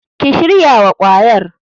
Ki shirya wa kwayar.